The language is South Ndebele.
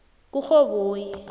kurhoboyi